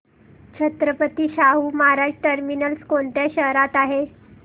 Chhatrapati Shahu Maharaj terminus कोणत्या शहरात आहे